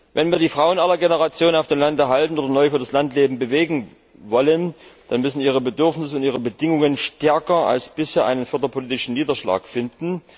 Wenn wir die Frauen aller Generationen auf dem Lande halten oder neu für das Landleben bewegen wollen, dann müssen ihre Bedürfnisse und ihre Bedingungen stärker als bisher einen förderpolitischen Niederschlag finden.